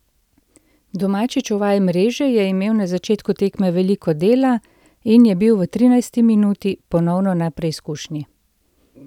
Domači čuvaj mreže je imel na začetku tekme veliko dela in je bil v trinajsti minuti ponovno na preizkušnji.